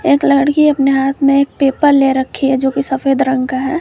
एक लड़की अपने हाथ में एक पेपर ले रखी है जो की सफेद रंग का है।